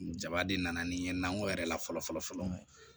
Jaba de nana ni n ye nankɔ yɛrɛ la fɔlɔ fɔlɔ fɔlɔ